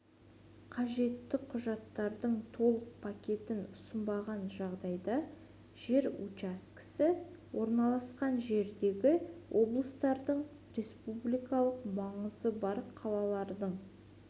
қажетті құжаттардың толық пакетін ұсынбаған жағдайда жер учаскесі орналасқан жердегі облыстардың республикалық маңызы бар қалалардың